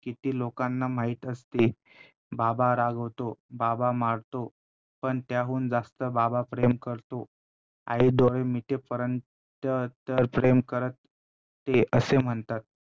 किती लोकांना माहित असते. बाबा रागावतो, बाबा मारतो पण त्याहून जास्त बाबा प्रेम करतो. आई डोळे मिटेपर्यंत तर~ तर प्रेम करत असते असे म्हणतात.